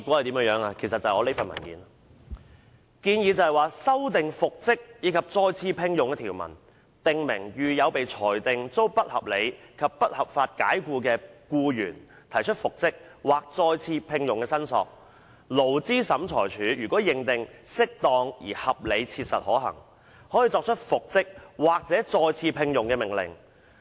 當局作出以下建議："修訂復職及再次聘用的條文，訂明遇有被裁定遭不合理及不合法解僱的僱員提出復職/再次聘用的申索，勞資審裁處如認為適當而合理切實可行，可作出復職/再次聘用的命令。